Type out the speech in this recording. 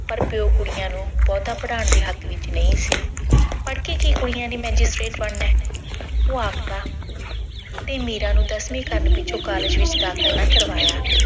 ਪਰ ਪਿਓ ਕੁੜੀਆਂ ਨੂੰ ਬਹੁਤਾ ਪੜਾਉਣ ਦੇ ਹੱਕ ਵਿੱਚ ਨਹੀਂ ਸੀ। ਪੜ ਕੇ ਕੁੜੀਆਂ ਨੇ ਬਣਨਾ ਉਹ ਆਖਦਾ, ਤੇ ਮੀਰਾ ਨੂੰ ਦਸਵੀਂ ਪਾਸ ਕਰਨ ਪਿੱਛੋਂ college ਵਿੱਚ ਦਾਖਲ ਨਾ ਕਰਵਾਇਆ।